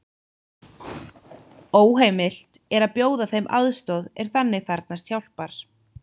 Óheimilt er að bjóða þeim aðstoð er þannig þarfnast hjálpar.